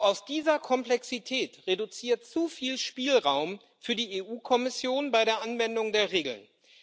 Aus dieser Komplexität resultiert zu viel Spielraum für die EU Kommission bei der Anwendung der Regeln.